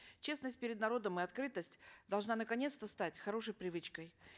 честность перед народом и открытость должна наконец то стать хорошей привычкой